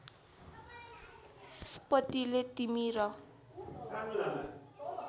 पतिले तिमी र